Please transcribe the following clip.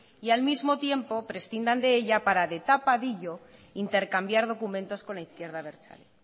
y al mismo tiempo prescinda de ella para de tapadillo intercambiar documentos con la izquierda abertzale